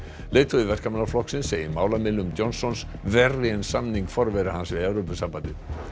leiðtogi Verkamannaflokksins segir málamiðlun Johnsons verri en samning forvera hans við Evrópusambandið